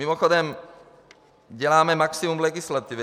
Mimochodem, děláme maximum legislativy.